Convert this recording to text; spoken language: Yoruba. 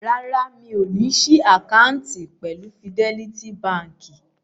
Rárá, mi ò ní ṣí àkáǹtì pẹ̀lú Fidẹ́lítí baǹkì.